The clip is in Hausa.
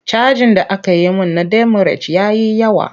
Cajin da aka yi min na demurej ya yi yawa.